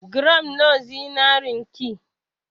Gram nawa zinarin ki?